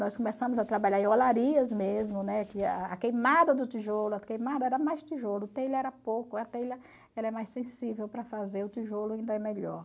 Nós começamos a trabalhar em olarias mesmo, né a queimada do tijolo, a queimada era mais tijolo, telha era pouco, a telha era mais sensível para fazer, o tijolo ainda é melhor.